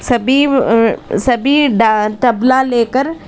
सभी अह सभी दा तबला लेकर--